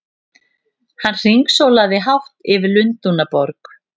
Hann hringsólaði hátt yfir Lundúnaborg!